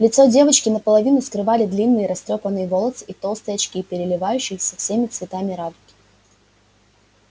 лицо девочки наполовину скрывали длинные растрёпанные волосы и толстые очки переливающиеся всеми цветами радуги